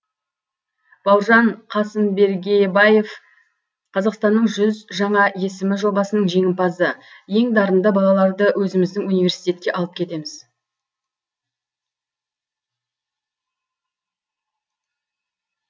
бауыржан қасымбергебаев қазақстанның жүз жаңа есімі жобасының жеңімпазы ең дарынды балаларды өзіміздің университетке алып кетеміз